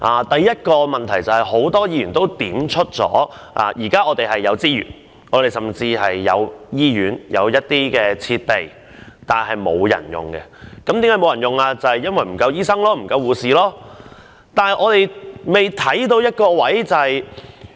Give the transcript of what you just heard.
第一個問題，正如很多議員所說，現時是有資源的，甚至有醫院和設備，但沒有人使用，因為醫生和護士不足。